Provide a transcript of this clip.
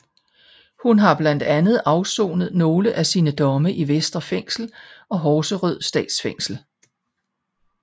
Hun har blandt andet afsonet nogle af sine domme i Vestre Fængsel og Horserød Statsfængsel